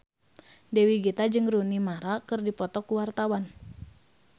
Dewi Gita jeung Rooney Mara keur dipoto ku wartawan